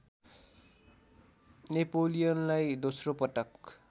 नेपोलियनलाई दोस्रोपटक